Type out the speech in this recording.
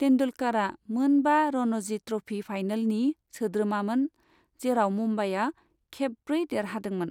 तेन्दुलकरआ मोन बा रणजी ट्रफि फाइनलनि सोद्रोमामोन जेराव मुंबाइआ खेब ब्रै देरहादोंमोन।